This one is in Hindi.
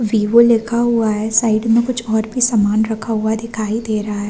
वीवो लिखा हुआ है साइड में कुछ और भी सामान रखा हुआ दिखाई दे रहा है।